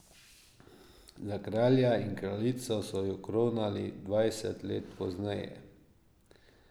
Za kralja in kraljico so ju kronali dvajset let pozneje.